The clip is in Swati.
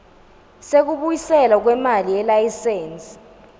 sekubuyiselwa kwemali yelayisensi